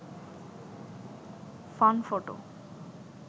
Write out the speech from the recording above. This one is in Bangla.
fun photo